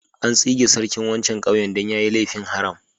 An tsige sarkin wancan ƙauyen dan ya yi laifin haram.